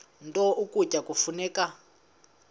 nto ukutya kufuneka